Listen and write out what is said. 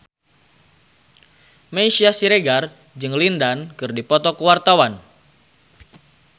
Meisya Siregar jeung Lin Dan keur dipoto ku wartawan